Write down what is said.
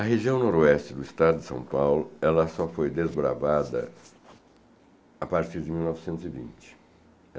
A região noroeste do estado de São Paulo, ela só foi desbravada a partir de mil novecentos e vinte.